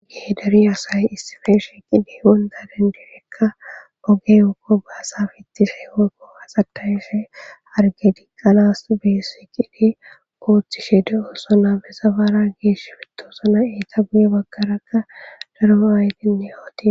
geederi asay issifeshe qide wondaden direkka oge ookko gaasafittishe ookko asatayshe arge di qalas beesi qide kooththishe de7osona bezafara geesh fitosona eita buye bakarakka daro aydenne yooti